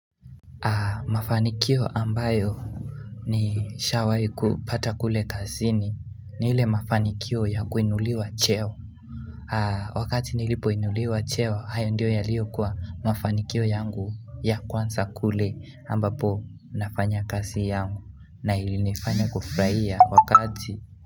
Mafanikio ambayo ni shawai kupata kule kasini ni ile mafanikio ya kuinuliwa cheo Wakati nilipo inuliwa cheo hayo ndio yalio kuwa mafanikio yangu ya kwanza kule ambapo nafanya kazi yangu na ili nifanya kufuraia wakati.